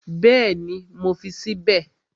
Bẹ́ẹ̀ni, mo fi sí bẹ̀